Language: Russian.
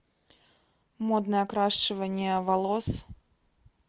модное окрашивание волос